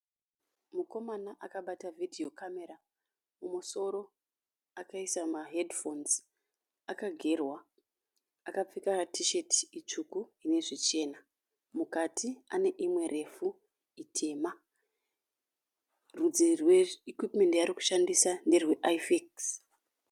Mukomana akabata "video camera" mumusoro akaisa ma "head phones".Akagerwa kapfeka tisheti svuku inezvichena mukati ane imwe refu itema. Rudzi rwe ekwipimenti yari kushandisa nderwe "ifx"